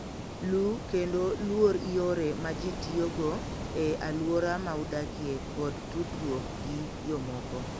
Luw kendo luor yore ma ji tiyogo e alwora ma udakie kod tudruok gi jomoko.